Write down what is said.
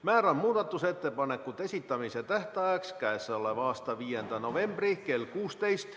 Määran muudatusettepanekute esitamise tähtajaks k.a 5. novembri kell 16.